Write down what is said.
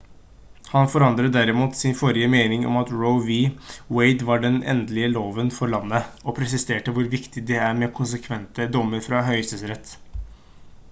han forandret derimot sin forrige mening om at roe v. wade var den «endelige loven for landet» og presiserte hvor viktig det er med konsekvente dommer fra høyesterett